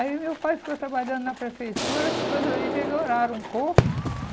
Aí meu pai ficou trabalhando na prefeitura, as coisas aí melhoraram um pouco.